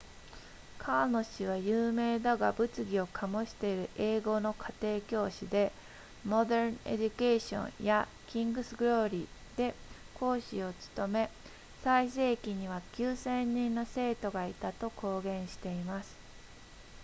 カーノ氏は有名だが物議を醸している英語の家庭教師で modern education や king's glory で講師を務め最盛期には 9,000 人の生徒がいたと公言しています